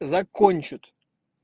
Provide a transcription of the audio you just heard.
закончит